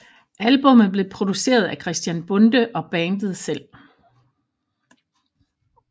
Albummet blev produceret af Christian Bonde og bandet selv